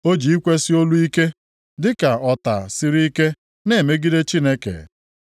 O ji ikwesi olu ike, dịka ọta siri ike, na-emegide Chineke.